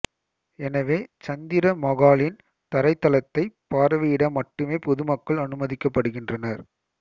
எனவே சந்திர மகாலின் தரைத்தளத்தைப் பார்வையிட மட்டுமே பொதுமக்கள் அனுமதிக்கப்படுகின்றனர்